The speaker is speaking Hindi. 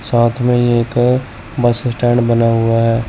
साथ में ये एक बस स्टैंड बना हुआ है।